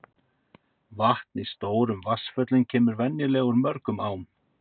Vatn í stórum vatnsföllum kemur venjulega úr mörgum ám.